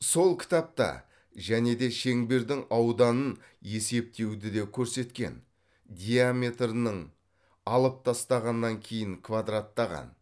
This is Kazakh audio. сол кітапта және де шеңбердің ауданын есептеуді де көрсеткен диаметрінің алып тастағаннан кейін квадраттаған